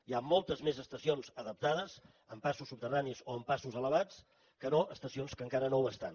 hi han moltes més estacions adaptades amb passos subterranis o amb passos elevats que no estacions que encara no ho estan